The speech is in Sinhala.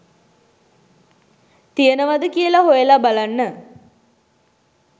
තියෙනවද කියලා හොයලා බලන්න